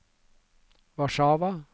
Warszawa